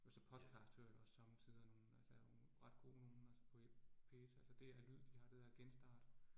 Og så podcast hører jeg også somme tider nogle, altså der nogle ret gode nogle, altså på P1 altså DR Lyd, de har det, der hedder Genstart